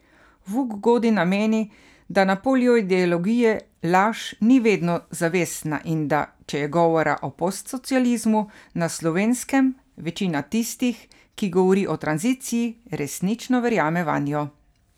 Vuk Godina meni, da na polju ideologije laž ni vedno zavestna in da, če je govora o postsocializmu na Slovenskem, večina tistih, ki govori o tranziciji, resnično verjame vanjo.